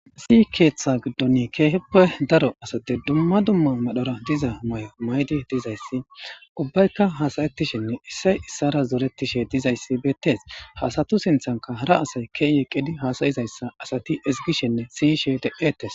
Issi keeththa giddoni ke'ihppe daro asati dumma dumma madhdhora diza may'o maydi dizayssi ubbaykka hasayettishinne issay issara zoretishe dizayssi bettees ha assatu sinththankka hara asay ke'i eqqidi hasayizayssa asati izigishenne siiyishshe de'etees